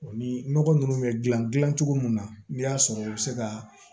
O ni nɔgɔ ninnu bɛ dilan dilan cogo min na n'i y'a sɔrɔ u bɛ se ka